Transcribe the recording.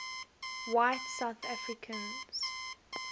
white south africans